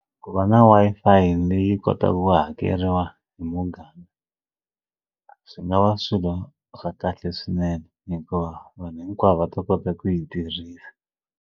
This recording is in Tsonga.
Ku va na Wi-Fi leyi kotaku ku hakeriwa hi muganga swi nga va swilo swa kahle swinene hikuva vanhu hinkwavo va ta kota ku yi tirhisa.